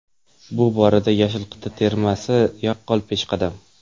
Bu borada yashil qit’a termasi yaqqol peshqadam.